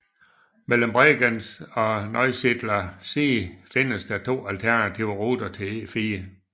Mellem Bregenz og Neusiedler See findes der to alternative ruter til E4